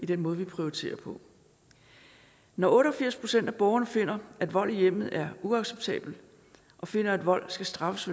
den måde vi prioriterer på når otte og firs procent af borgerne finder at vold i hjemmet er uacceptabelt og finder at vold skal straffes